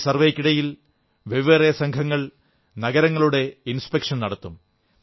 ഈ സർവ്വേയ്ക്കിടയിൽ വെവ്വേറെ സംഘങ്ങൾ നഗരങ്ങളുടെ പരിശോധന നടത്തും